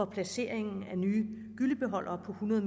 placeringen af nye gyllebeholdere på hundrede